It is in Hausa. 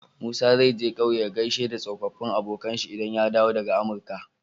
Musa zai je ƙauye ya gaishe da tsofafin abokAnan shi idan ya dawo daka amurka